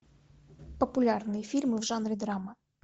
популярные фильмы в жанре драма